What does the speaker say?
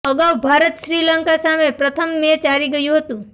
અગાઉ ભારત શ્રી લંકા સામે પ્રથમ મેચ હારી ગયું હતું